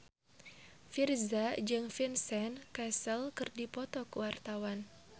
Virzha jeung Vincent Cassel keur dipoto ku wartawan